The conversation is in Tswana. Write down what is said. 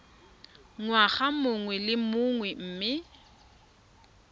ngwaga mongwe le mongwe mme